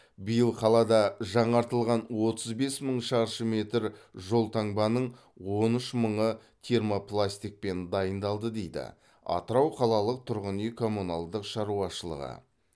биыл қалада жаңартылған отыз бес мың шаршы метр жолтаңбаның он үш мыңы термопластикпен дайындалды дейді атырау қалалық тұрғын үй коммуналдық шаруашылығы